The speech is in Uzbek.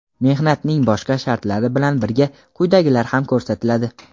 mehnatning boshqa shartlari bilan birga quyidagilar ham ko‘rsatiladi:.